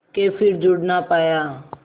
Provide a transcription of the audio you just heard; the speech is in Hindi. के फिर जुड़ ना पाया